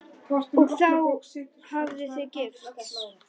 Og þá hafið þið gifst?